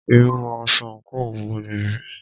Irú aṣọ àńkò wo nìyí?